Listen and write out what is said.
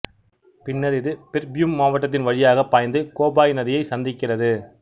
பின்னர் இது பிர்பூம் மாவட்டத்தின் வழியாகப் பாய்ந்து கோபாய் நதியை சந்திக்கிறது